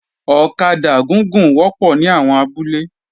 Ọ̀kadà gúgùn wọ́pọ̀ ní àwọn abúlé